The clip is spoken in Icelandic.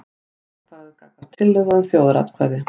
Jákvæður gagnvart tillögu um þjóðaratkvæði